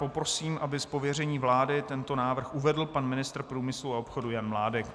Poprosím, aby z pověření vlády tento bod uvedl pan ministr průmyslu a obchodu Jan Mládek.